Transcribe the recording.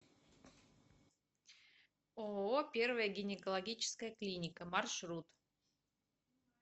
ооо первая гинекологическая клиника маршрут